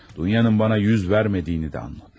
Dunyanın bana yüz vermediğini de anladım.